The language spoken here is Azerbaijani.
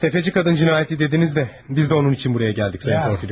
Təfəçi qadın cinayəti dediniz də, biz də onun üçün buraya gəldik, Sayın Porfiliy Petroviç.